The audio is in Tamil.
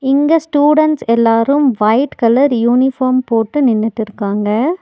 இங்க ஸ்டுடென்ட்ஸ் எல்லாரும் வைட் கலர் யூனிஃபாம் போட்டு நின்னுட்டுருக்காங்க.